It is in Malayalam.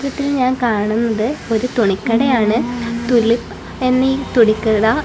ഇതിൽ ഞാൻ കാണുന്നത് ഒരു തുണിക്കടയാണ് തുണി എന്നി തുണിക്കട--